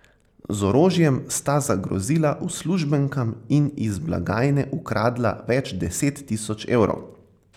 Z orožjem sta zagrozila uslužbenkam in iz blagajne ukradla več deset tisoč evrov.